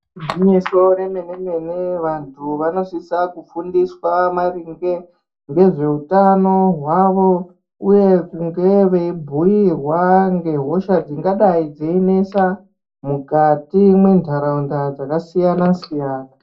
Gwinyiso remene-mene, vantu vanosisa kufundiswa maringe ngezveutano hwavo uye kunge veibhuyirwa ngehosha dzingadai dzeinesa mukati mwentaraunda dzakasiyana siyana.